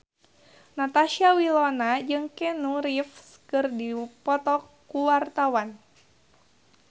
Natasha Wilona jeung Keanu Reeves keur dipoto ku wartawan